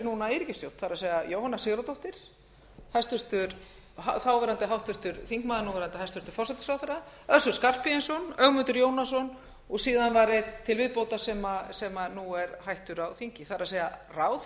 eru núna i ríkisstjórn það er jóhanna sigurðardóttir þáverandi háttvirtur þingmaður núverandi hæstvirtan forsætisráðherra össur skarphéðinsson ögmundur jónasson og síðan var einn til viðbótar sem nú er hættur á þingi það er að segja að ráðherra